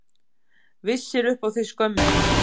Vissir upp á þig skömmina.